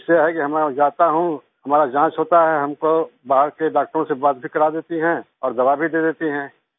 इसे है कि हम अब जाता हूँ हमारा जांच होता है हमको बाहर के डॉक्टरों से बात भी करा देती हैं और दवा भी दे देती हैं